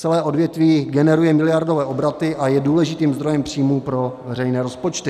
Celé odvětví generuje miliardové obraty a je důležitým zdrojem příjmů pro veřejné rozpočty.